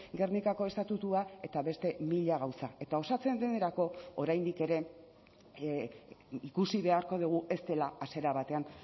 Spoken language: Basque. gernikako estatutua eta beste mila gauza eta osatzen denerako oraindik ere ikusi beharko dugu ez dela hasiera batean